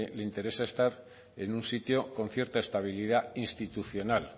le interesa estar en un sitio con cierta estabilidad institucional